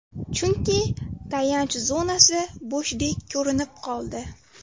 Chunki, tayanch zonasi bo‘shdek ko‘rinib qoldi.